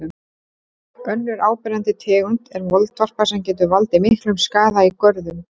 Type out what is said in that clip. Önnur áberandi tegund er moldvarpa sem getur valdið miklum skaða í görðum.